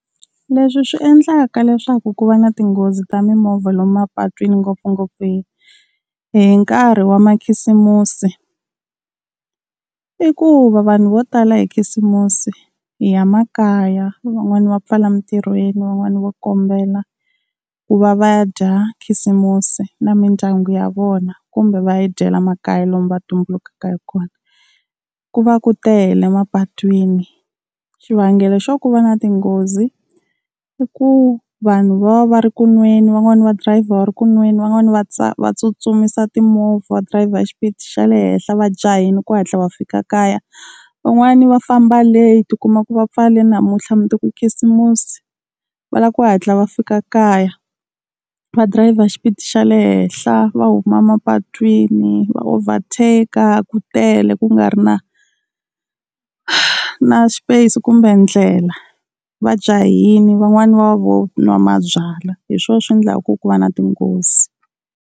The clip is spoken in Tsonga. Leswi swi endlaka leswaku ku va na tinghozi ta mimovha lomu mapatwini ngopfungopfu hi hi nkarhi wa makhisimusi, i ku va vanhu vo tala hi khisimusi hi ya makaya van'wani va pfala mintirhweni van'wani va kombela ku va va ya dya khisimusi na mindyangu ya vona, kumbe va yi dyela makaya lomu va tumbulukaka hi kona. Ku va ku tele mapatwini, xivangelo xo ku va na tinghozi i ku vanhu va va ri ku nweni, van'wani va driver va ri ku nweni, van'wani va va tsutsumisa timovha va driver xipidi xa le henhla va jahile ku hatla va fika kaya. Van'wani va famba late u kuma ku va pfale namuntlha mundzuku i khisimusi va lava ku hatla va fika kaya, va driver xipidi xa le henhla va huma mapatwini va overtake ku tele ku nga ri na, na space kumbe ndlela va jahile van'wani va vo nwa mabyalwa hi swona swi endlaka ku ku va na tinghozi.